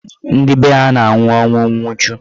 Ndị be ha na-anwụ ọnwụ nwuchu.